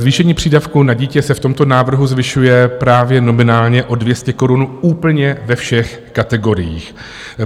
Zvýšení přídavku na dítě se v tomto návrhu zvyšuje právě nominálně o 200 korun úplně ve všech kategoriích.